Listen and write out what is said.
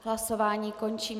Hlasování končím.